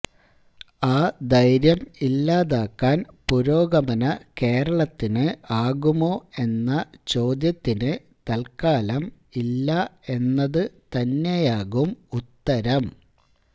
ആ ധൈര്യം ഇല്ലാതാക്കാൻ പുരോഗമന കേരളത്തിന് ആകുമോ എന്ന ചോദ്യത്തിന് തൽക്കാലം ഇല്ല എന്നത് തന്നെയാകും ഉത്തരം